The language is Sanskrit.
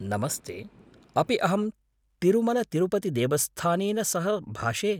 नमस्ते। अपि अहं तिरुमलतिरुपतिदेवस्थानेन सह भाषे?